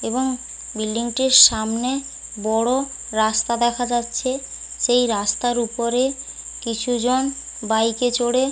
এবং বিল্ডিং -টির সামনে বড় রাস্তা দেখা যাচ্ছে সেই রাস্তার উপরে কিছু জন বাইক এ চড়ে--